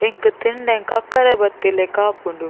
ಎಂಕ್ ತಿಂಡ ಎಂಕ್ ಕಕ್ಕೆರೆ ಬತ್ತಿಲಕ ಆಪುಂಡು.